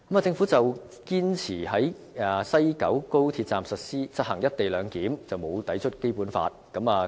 政府堅持在西九高鐵站實行"一地兩檢"並無抵觸《基本法》。